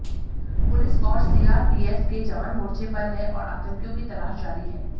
police और CRPF के जवान मोर्चे पर हैं और आतंकियों की तलाश जारी है